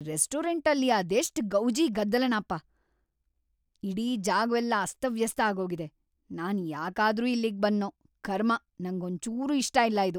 ಈ ರೆಸ್ಟೋರೆಂಟಲ್ಲಿ ಅದೆಷ್ಟ್ ಗೌಜಿ ಗದ್ದಲನಪ.. ಇಡೀ ಜಾಗವೆಲ್ಲ ಅಸ್ತವ್ಯಸ್ತ ಆಗೋಗಿದೆ, ನಾನ್‌ ಯಾಕಾದ್ರೂ ಇಲ್ಲಿಗ್‌ ಬಂದ್ನೋ.. ಕರ್ಮ, ನಂಗೊಂಚೂರೂ ಇಷ್ಟ ಇಲ್ಲ ಇದು.